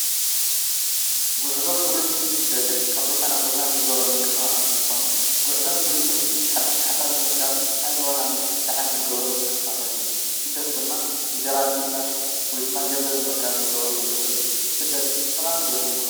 ጉዕዞን ትሪዝምን ስደትን ካብ ቦታ ናብ ቦታ እንገብሮ ምንቅስቃሳት እንትኾኑ ጉዕዞን ትሪዝምን ሓዱሽ ሓሳብ ንምርካብ ኣእምሮና ንምፍትሕታሕን ንገብሮም ምንቅስቃሳት እዮም፡፡ ስደት ድማ እንጀራ ንምእላሽ ወይ ድማ ገንዘብ ንምርካብ ንገብሮ ጉዕዞ እዩ፡፡ ስደት ጠቃሚ ዶ ይመስለኩም?